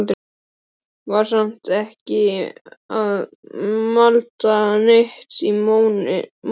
Var samt ekki að malda neitt í móinn.